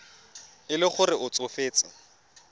e le gore o tsofetse